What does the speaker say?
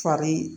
Fari